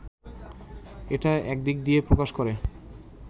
এটা একদিক দিয়ে প্রকাশ করে